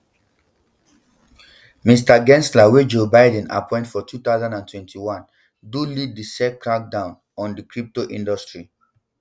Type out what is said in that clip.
mr gensler wey joe biden appoint for two thousand and twenty-one do lead di sec crackdown on di crypto industry